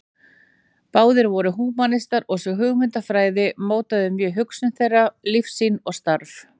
Báðir voru húmanistar og sú hugmyndafræði mótaði mjög hugsun þeirra, lífssýn og starf.